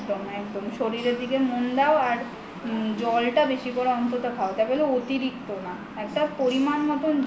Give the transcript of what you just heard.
একদম একদম শরীরের দিকে মন দাও আর জলটা বেশি করে অন্তত খাও তা বলে অতিরিক্ত না একটা পরিমান মতো